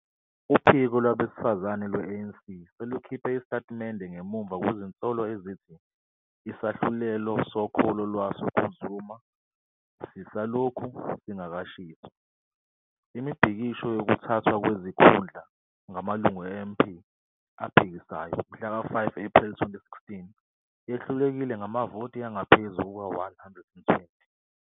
Uphiko lwabesifazane lwe-ANC selukhiphe isitatimende ngemuva kwezinsolo ezithi isahlulelo sokholo lwaso kuZuma "sisalokhu singakashiswa". Imibhikisho yokuthathwa kwezikhundla ngamalungu e-MP aphikisayo mhlaka 5 Ephreli 2016 yehlulekile ngamavoti angaphezu kuka-120.